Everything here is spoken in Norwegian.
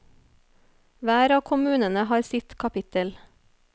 Hver av kommunene har sitt kapittel.